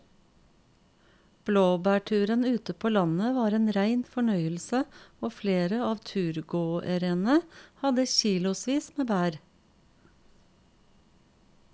Blåbærturen ute på landet var en rein fornøyelse og flere av turgåerene hadde kilosvis med bær.